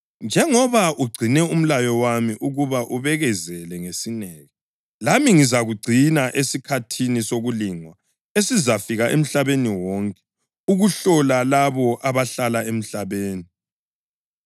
Njengoba ugcine umlayo wami ukuba ubekezele ngesineke, lami ngizakugcina esikhathini sokulingwa esizafika emhlabeni wonke ukuhlola labo abahlala emhlabeni.